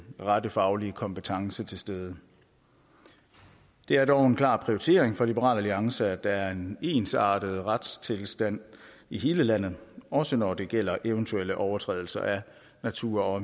rette faglige kompetence er til stede det er dog en klar prioritet for liberal alliance at der er en ensartet retstilstand i hele landet også når det gælder eventuelle overtrædelser af natur og